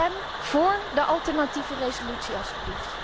Stem voor de alternatieve resolutie alstublieft.